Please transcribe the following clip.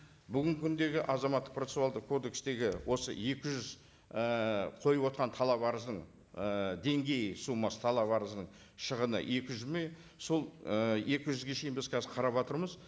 бүгінгі күндегі азаматтық процессуалдық кодекстегі осы екі жүз ііі қойып отырған талап арыздың ыыы деңгейі суммасы талап арызының шығыны екі жүз сол екі жүзге дейін біз қазір қараватырмыз